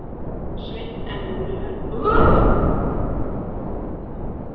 Sveinn en mörg leikrit voru líka frumsamin.